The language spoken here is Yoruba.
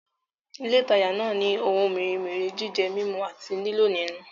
Ilé ìtajà náà ni ohun mèremère jíjẹ, mímú àti lílò nínú